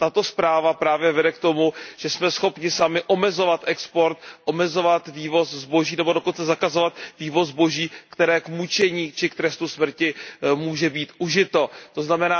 A tato zpráva právě vede k tomu, že jsme schopni sami omezovat export, omezovat vývoz zboží nebo dokonce zakazovat vývoz zboží, které k mučení či k trestu smrti může být užito, tzn.